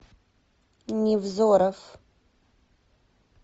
невзоров